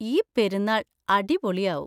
ഈ പെരുന്നാൾ അടിപൊളിയാവും.